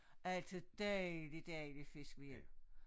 Altid dejlig dejlig fisk med hjem